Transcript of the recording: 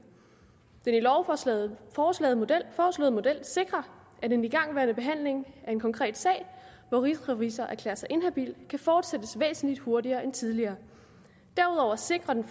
den i lovforslaget foreslåede model sikrer at en igangværende behandling af en konkret sag hvor rigsrevisor erklærer sig inhabil kan fortsættes væsentlig hurtigere end tidligere derudover sikrer den